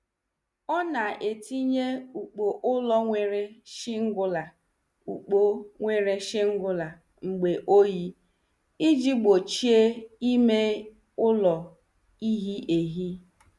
Ọ na- etinye ukpu ụlọ nwere shingula ukpu nwere shingler mgbe oyi, iji gbochie ime ụlọ ihe ehi.